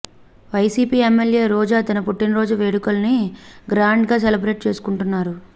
YCP MLA Roja తన పుట్టినరోజు వేడుకల్ని గ్రాండ్గా సెలబ్రేట్ చేసుకుంటున్నారు